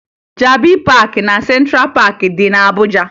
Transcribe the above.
Jabi Paakị na Sentra Paakị dị na Abuja